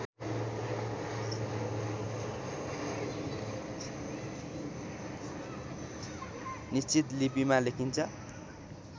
निश्चित लिपिमा लेखिन्छ